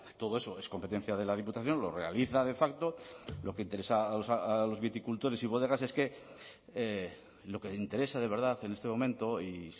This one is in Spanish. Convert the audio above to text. todo eso es competencia de la diputación lo realiza de facto lo que interesa a los viticultores y bodegas es que lo que interesa de verdad en este momento y